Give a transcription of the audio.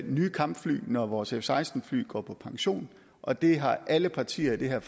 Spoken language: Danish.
nye kampfly når vores f seksten fly går på pension og det har alle partier i det her